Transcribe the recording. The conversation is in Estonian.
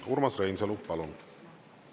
Urmas Reinsalu, palun!